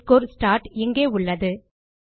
session start இங்கே உள்ளது